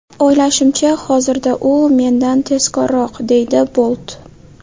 O‘ylashimcha, hozirda u mendan tezkorroq”, deydi Bolt.